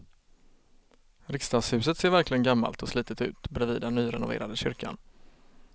Riksdagshuset ser verkligen gammalt och slitet ut bredvid den nyrenoverade kyrkan.